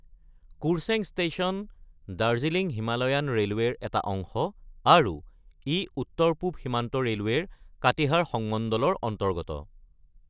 Kurseong station Darjeeling Himalayan ৰেলৱেৰ এটা অংশ আৰু ই উত্তৰ-পূব সীমান্ত ৰেলৱেৰ কাটিহাৰ সংমণ্ডলৰ অন্তৰ্গত।